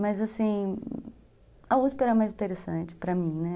Mas assim, a uspi era mais interessante para mim, né?